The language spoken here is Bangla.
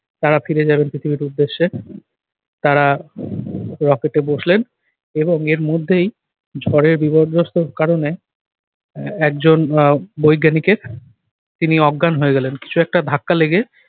তারা ফিরে যাবেন পৃথিবীর উদ্দেশ্যে তারা rocket এ বসলেন এবং এর মধ্যেই ঝড়ের বিপর্যস্তর কারণে আহ একজন আহ বৈজ্ঞানিকের তিনি অজ্ঞান হয়ে গেলেন কিছু একটা ধাক্কা লেগে